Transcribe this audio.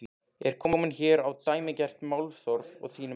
Er komið hér á dæmigert málþóf að þínu mati?